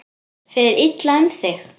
Fer illa um þig?